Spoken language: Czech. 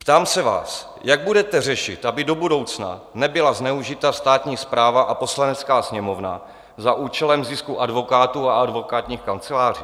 Ptám se vás: Jak budete řešit, aby do budoucna nebyla zneužita státní správa a Poslanecká sněmovna za účelem zisku advokátů a advokátních kanceláří?